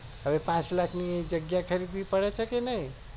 હવે પાંચ લાખ ની જગ્યા ખરીદવી પડે છે કે નય